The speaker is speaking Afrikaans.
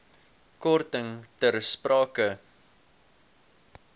korting ter sprake